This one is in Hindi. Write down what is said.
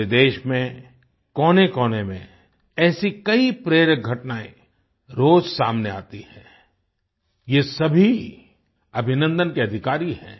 पूरे देश में कोनेकोने में ऐसी कई प्रेरक घटनाएँ रोज सामने आती हैं ये सभी अभिनंदन के अधिकारी हैं